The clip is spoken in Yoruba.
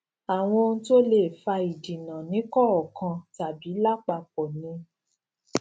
àwọn ohun tó lè fa ìdínà nìkọọkan tàbí lápapọ ni